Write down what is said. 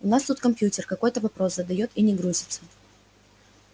у нас тут компьютер какой-то вопрос задаёт и не грузится